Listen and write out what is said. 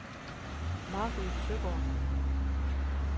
Mary Søgaard